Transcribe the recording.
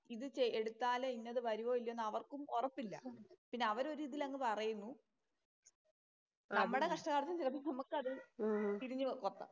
ഇതെടുത്താല് ഇന്നത് വരുവോ ഇല്ലയോ എന്ന് അവർക്കും ഒറപ്പില്ല. പിന്നെ അവര് ഒരു ഇതില് അങ്ങ് പറയുന്നു. നമ്മടെ കഷ്ടകാലത്തിന് ചെലപ്പോ നമുക്കത് തിരിഞ്ഞു കൊത്താം.